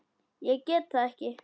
Ég get það ekki